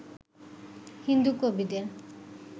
হিন্দু কবিদের